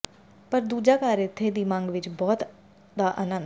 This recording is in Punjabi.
ਪਰ ਦੂਜਾ ਘਰ ਇੱਥੇ ਦੀ ਮੰਗ ਵਿੱਚ ਬਹੁਤ ਦਾ ਆਨੰਦ